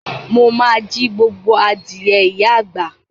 Mo ma jí gbogbo adìẹ ìyá àgbà.